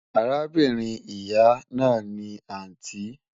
Àràbìnrin ìyà náà ni àntí